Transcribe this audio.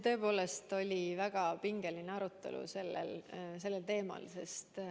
Tõepoolest oli väga pingeline arutelu sellel teemal.